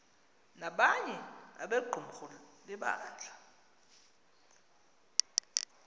nabanye abequmrhu lebandla